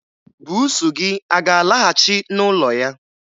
Buusu gị a ga-alaghachị n'ụlọ ya?